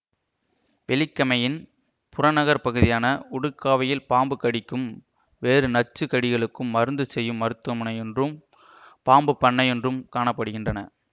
வெலிகமையின் புறநகர் பகுதியான உடுக்காவையில் பாம்பு கடிக்கும் வேறு நச்சு கடிகளுக்கும் மருந்து செய்யும் மருத்துவமனையொன்றும் பாம்புப் பண்ணையொன்றும் காண படுகின்றன